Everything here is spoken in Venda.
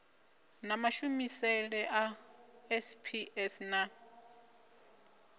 na mashumisele a sps na